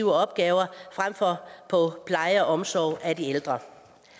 opgaver frem for på pleje og omsorg af de ældre